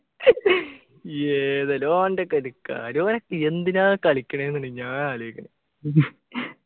ഏതെല്ലൊ ഓന്റൊക്കെ ഒരു കാര്യൊ ഓനൊക്കെ എന്തിനാ കളിക്ക്ണെ ന്ന് ഞാൻ ആലോചിക്കുന്നേ